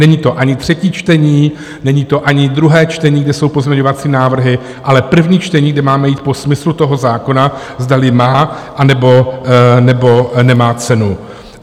Není to ani třetí čtení, není to ani druhé čtení, kde jsou pozměňovací návrhy, ale první čtení, kde máme jít po smyslu toho zákona, zdali má, anebo nemá cenu.